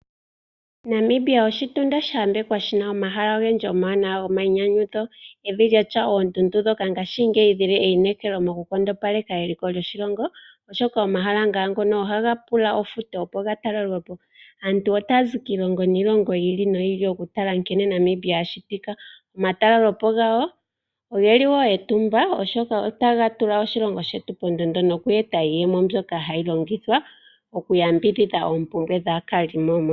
Namibia oshitunda shayambekwa shina omahala ogendji omawanawa gomayinyanyudho, evi lyatya oondundu ngaashingeyi dhili eyinekelo mokunkondopaleka eliko lyoshilongo oshoka omahala ngaa ngono ohaga pula ofuto opo gatalelwe po. Aantu otaya zi kiilongo niilongo yi ili noyi ili okutala nkene Namibia ashitika. Omatalele po gawo ogeli wo etumba oshoka otaga tula oshilongo shetu pondondo noku eta iiyemo mbyoka tayi longithwa okuyambidhidha oompumbwe dhaakalimo.